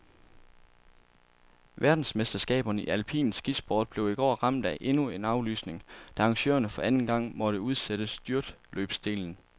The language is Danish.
Verdensmesterskaberne i alpin skisport blev i går ramt af endnu en aflysning, da arrangørerne for anden gang måtte udsætte styrtløbsdelen.